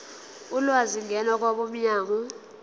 ulwazi ngena kwabomnyango